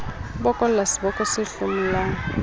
a bokolla seboko se hlomolang